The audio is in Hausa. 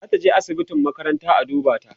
zataje asibitin makaranta a duba ta